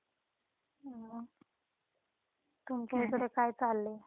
मग, तुमच्या इकडे काय चाललंय?